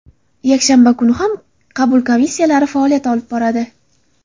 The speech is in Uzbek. Yakshanba kuni ham qabul komissiyalari faoliyat olib boradi.